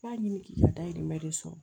B'a ɲini k'i ka dahirimɛ de sɔrɔ